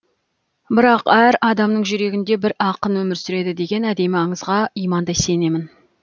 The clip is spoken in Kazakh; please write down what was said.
бірақ әр адамның жүрегінде бір ақын өмір сүреді деген әдемі аңызға имандай сенемін